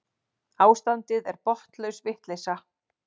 Ástandið er botnlaus vitleysa.